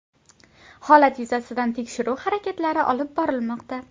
Holat yuzasidan tekshiruv harakatlari olib borilmoqda.